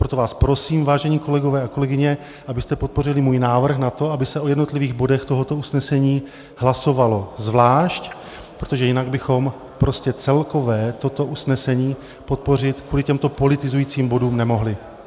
Proto vás prosím, vážení kolegové a kolegyně, abyste podpořili můj návrh na to, aby se o jednotlivých bodech tohoto usnesení hlasovalo zvlášť, protože jinak bychom prostě celkové toto usnesení podpořit kvůli těmto politizujícím bodům nemohli.